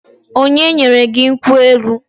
Onye nyere gị nkwụ elu?